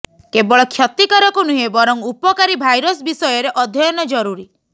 କେବଳ କ୍ଷତିକାରକ ନୁହେଁ ବରଂ ଉପକାରୀ ଭାଇରସ୍ ବିଷୟରେ ଅଧ୍ୟୟନ ଜରୁରୀ